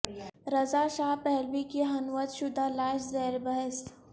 رضا Shah Pahlavi کی حنوط شدہ لاش زیر بحث